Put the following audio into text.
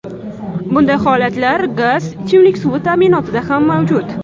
Bunday holatlar gaz, ichimlik suvi ta’minotida ham mavjud.